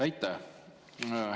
Aitäh!